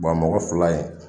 Bɔn a mɔgɔ fila in